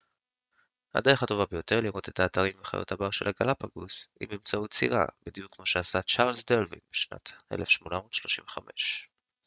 הדרך הטובה ביותר לראות את האתרים וחיות הבר של הגלאפגוס היא באמצעות סירה בדיוק כמו שעשה צ'ארלס דרווין בשנת 1835